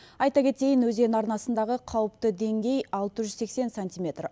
айта кетейін өзен арнасындағы қалыпты деңгей алты жүз сексен сантиметр